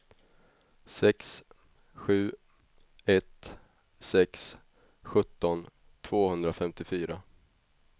sex sju ett sex sjutton tvåhundrafemtiofyra